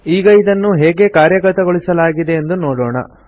ಈಗ ಇದನ್ನು ಹೇಗೆ ಕಾರ್ಯಗತಗೊಳಿಸಲಾಗಿದೆ ಎಂದು ನೋಡೋಣ